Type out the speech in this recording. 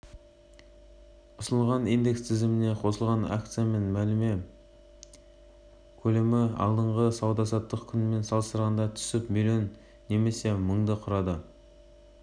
ұсынылған индекс тізіміне қосылған акциямен мәміле көлемі алдыңғы сауда-саттық күнімен салыстырғанда түсіп млн немесе мыңды құрады